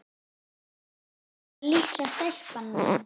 Þarna var litla stelpan mín.